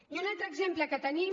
i un altre exemple que tenim